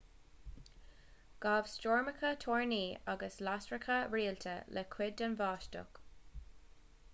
ghabh stoirmeacha toirní agus lasracha rialta le cuid den bháisteach